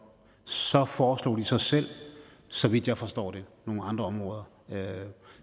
så foreslog de så selv så vidt jeg forstår det nogle andre områder